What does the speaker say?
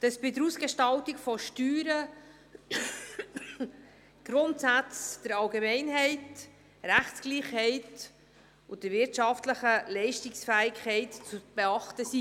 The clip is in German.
«Bei der Ausgestaltung der Steuern sind die Grundsätze der Allgemeinheit, der Rechtsgleichheit und der wirtschaftlichen Leistungsfähigkeit zu beachten.»